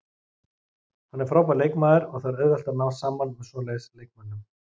Hann er frábær leikmaður og það er auðvelt að ná saman með svoleiðis leikmönnum.